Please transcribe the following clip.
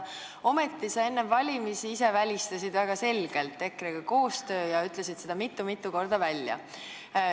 Ometi sa enne valimisi ise välistasid väga selgelt EKRE-ga koostöö, ütlesid seda mitu-mitu korda välja.